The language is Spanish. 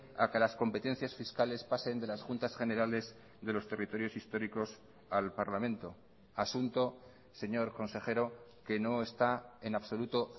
a que las competencias fiscales pasen de las juntas generales de los territorios históricos al parlamento asunto señor consejero que no está en absoluto